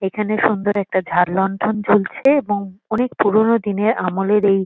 এখানে সুন্দর একটা ঝাড়-লণ্ঠন ঝুলছে এবং অনেক পুরোনো দিনের আমলের এই--